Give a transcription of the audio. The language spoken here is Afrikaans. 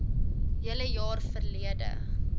hele jaar verlede